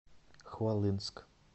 хвалынск